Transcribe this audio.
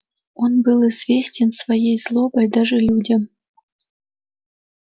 он был известен своей злобой даже людям